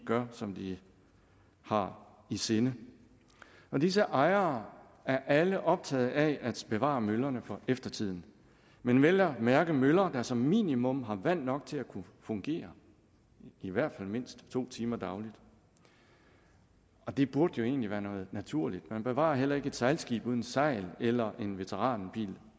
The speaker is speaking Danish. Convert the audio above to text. gør som de har i sinde disse ejere er alle optaget af at bevare møllerne for eftertiden men vel at mærke møller der som minimum har vand nok til at kunne fungere i hvert fald mindst to timer dagligt det burde jo egentlig være noget naturligt man bevarer heller ikke et sejlskib uden et sejl eller en veteranbil